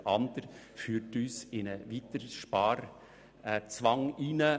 Der Eventualantrag der FDP würde hingegen zu einem weiteren Sparzwang führen.